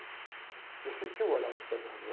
Porque eu senti o olhar do.